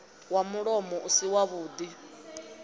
wa mulomoni u si wavhuḓi